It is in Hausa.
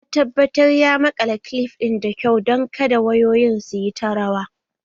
Ya tabbatar ya maƙala kilif ɗin da kyau don kada wayoyin su yi ta rawa